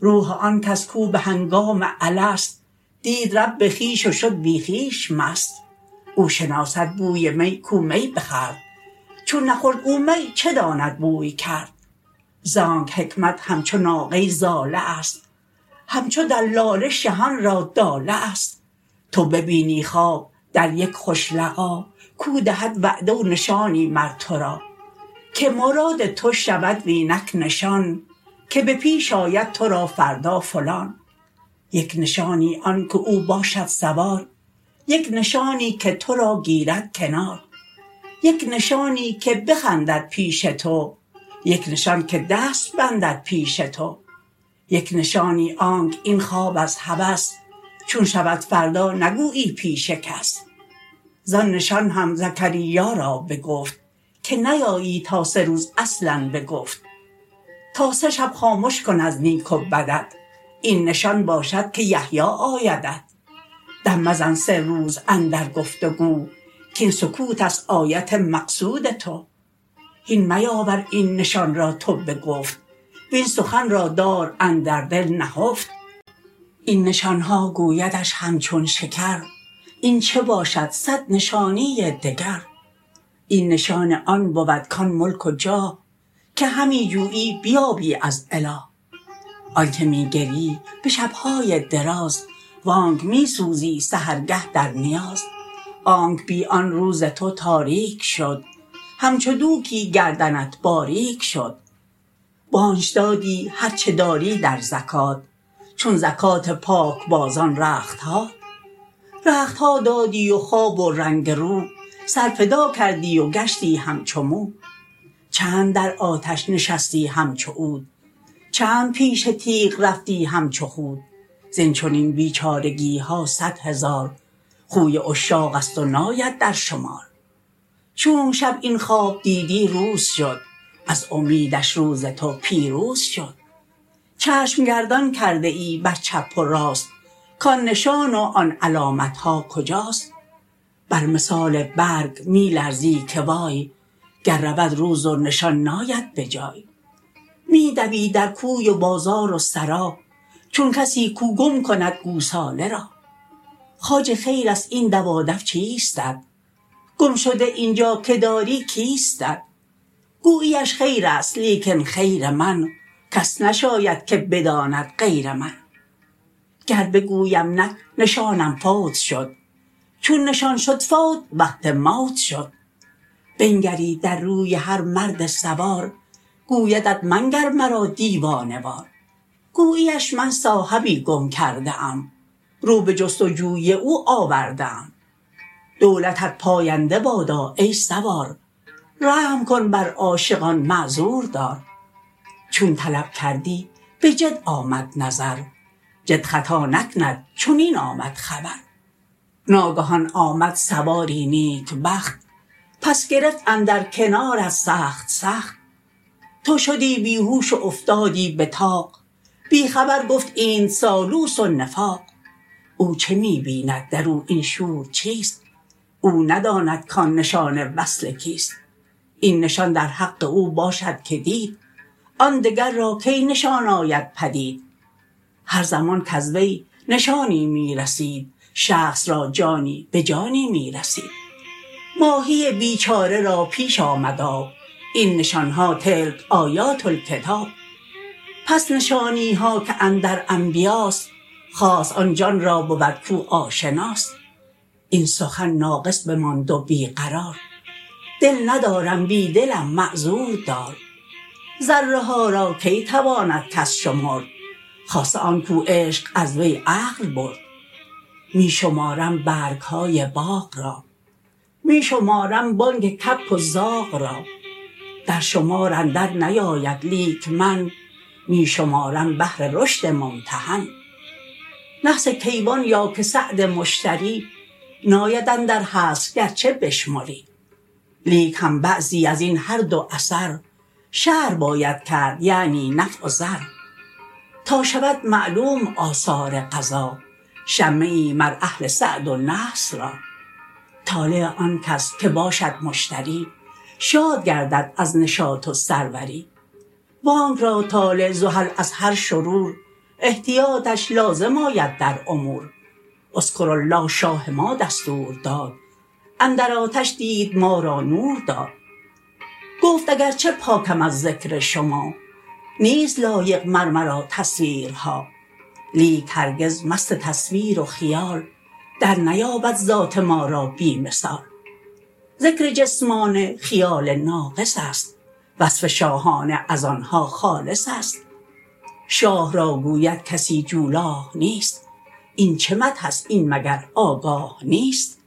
روح آنکس کو بهنگام الست دید رب خویش و شد بی خویش مست او شناسد بوی می کو می بخورد چون نخورد او می چه داند بوی کرد زانک حکمت همچو ناقه ضاله است همچو دلاله شهان را داله است تو ببینی خواب در یک خوش لقا کو دهد وعده و نشانی مر ترا که مراد تو شود و اینک نشان که به پیش آید ترا فردا فلان یک نشانی آن که او باشد سوار یک نشانی که ترا گیرد کنار یک نشانی که بخندد پیش تو یک نشان که دست بندد پیش تو یک نشانی آنک این خواب از هوس چون شود فردا نگویی پیش کس زان نشان هم زکریا را بگفت که نیایی تا سه روز اصلا بگفت تا سه شب خامش کن از نیک و بدت این نشان باشد که یحیی آیدت دم مزن سه روز اندر گفت و گو کین سکوتست آیت مقصود تو هین میاور این نشان را تو بگفت وین سخن را دار اندر دل نهفت این نشانها گویدش همچون شکر این چه باشد صد نشانی دگر این نشان آن بود کان ملک و جاه که همی جویی بیابی از اله آنک می گریی به شبهای دراز وانک می سوزی سحرگه در نیاز آنک بی آن روز تو تاریک شد همچو دوکی گردنت باریک شد وآنچ دادی هرچه داری در زکات چون زکات پاک بازان رختهات رختها دادی و خواب و رنگ رو سر فدا کردی و گشتی همچو مو چند در آتش نشستی همچو عود چند پیش تیغ رفتی همچو خود زین چنین بیچارگیها صد هزار خوی عشاقست و ناید در شمار چونک شب این خواب دیدی روز شد از امیدش روز تو پیروز شد چشم گردان کرده ای بر چپ و راست کان نشان و آن علامتها کجاست بر مثال برگ می لرزی که وای گر رود روز و نشان ناید بجای می دوی در کوی و بازار و سرا چون کسی کو گم کند گوساله را خواجه خیرست این دوادو چیستت گم شده اینجا که داری کیستت گوییش خیرست لیکن خیر من کس نشاید که بداند غیر من گر بگویم نک نشانم فوت شد چون نشان شد فوت وقت موت شد بنگری در روی هر مرد سوار گویدت منگر مرا دیوانه وار گوییش من صاحبی گم کرده ام رو به جست و جوی او آورده ام دولتت پاینده بادا ای سوار رحم کن بر عاشقان معذور دار چون طلب کردی به جد آمد نظر جد خطا نکند چنین آمد خبر ناگهان آمد سواری نیکبخت پس گرفت اندر کنارت سخت سخت تو شدی بیهوش و افتادی به طاق بی خبر گفت اینت سالوس و نفاق او چه می بیند درو این شور چیست او نداند کان نشان وصل کیست این نشان در حق او باشد که دید آن دگر را کی نشان آید پدید هر زمان کز وی نشانی می رسید شخص را جانی به جانی می رسید ماهی بیچاره را پیش آمد آب این نشانها تلک آیات الکتاب پس نشانیها که اندر انبیاست خاص آن جان را بود کو آشناست این سخن ناقص بماند و بی قرار دل ندارم بی دلم معذور دار ذره ها را کی تواند کس شمرد خاصه آن کو عشق از وی عقل برد می شمارم برگهای باغ را می شمارم بانگ کبک و زاغ را در شمار اندر نیاید لیک من می شمارم بهر رشد ممتحن نحس کیوان یا که سعد مشتری ناید اندر حصر گرچه بشمری لیک هم بعضی ازین هر دو اثر شرح باید کرد یعنی نفع و ضر تا شود معلوم آثار قضا شمه ای مر اهل سعد و نحس را طالع آنکس که باشد مشتری شاد گردد از نشاط و سروری وانک را طالع زحل از هر شرور احتیاطش لازم آید در امور اذکروا الله شاه ما دستور داد اندر آتش دید ما را نور داد گفت اگرچه پاکم از ذکر شما نیست لایق مر مرا تصویرها لیک هرگز مست تصویر و خیال در نیابد ذات ما را بی مثال ذکر جسمانه خیال ناقصست وصف شاهانه از آنها خالصست شاه را گوید کسی جولاه نیست این چه مدحست این مگر آگاه نیست